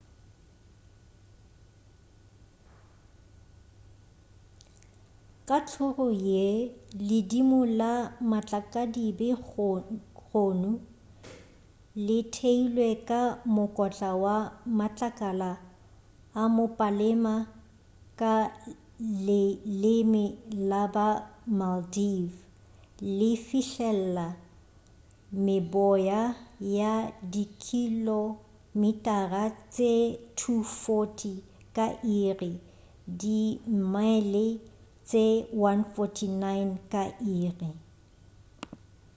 ka tlhoro ye ledimo la matlakadibe gonu le theilwe ka mokotla wa matlakala a mopalema ka leleme la ba maldive le fihlelela meboya ya dikilomitara tše 240 ka iri di mile tše 149 ka iri